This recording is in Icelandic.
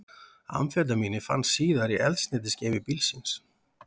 Amfetamínið fannst síðar í eldsneytisgeymi bílsins